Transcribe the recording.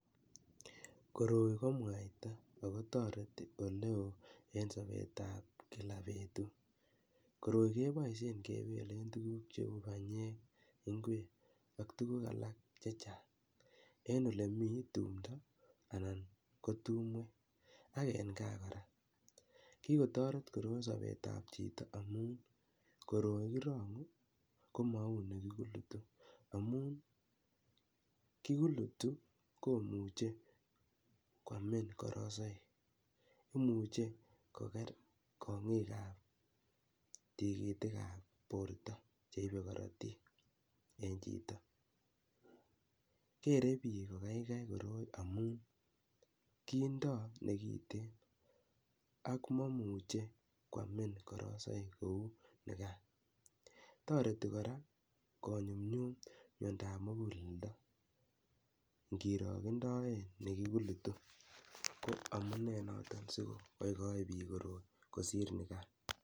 Koroi ko mwaita ako toreti ole oo eng sobetab kila betut, koroi kepoishen kepele tuguk cheu panyek, ingwek ak tuguk alak chechang eng ole mi tumdo anan ko tumwek ak eng gaa kora. Kikotoreti koroi sobetab chito amun koroi kirongu komau ne kikulutu amun ne kikulutu komuchei kwaamin karasaik, imuche kokeer kongiikab tigitikab borto cheipe karatiik eng chito. Geerei biik kokeikei koroi amun kiindo nekitigin ak mamuchei kwaamin karasaik kou nekan, toreti kora konyumnyum miandoab muguleldo, kirondoe ne kikulutu ko amune noto sikokaikai biik koroi kosiir nekan.